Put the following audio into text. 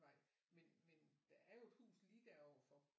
Vej men men der er jo et hus lige der overfor